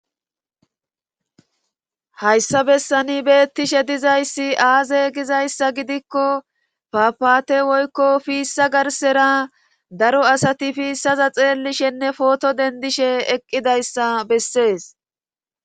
Hayssa bessani beettishe dizayssi aaze gizayssa gidikko fapaate woykko fiissa garsera daro asati fiissaza xeellishenne pooto dendishe eqqidayssa bessees.